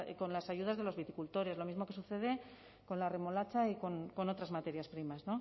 con las ayudas de los viticultores lo mismo que sucede con la remolacha y con otras materias primas